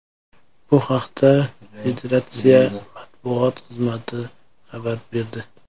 Bu haqda federatsiya matbuot xizmati xabar berdi .